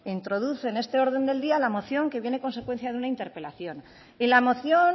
introduce en este orden del día la moción que viene en consecuencia de una interpelación y la moción